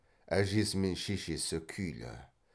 әжесі мен шешесі күйлі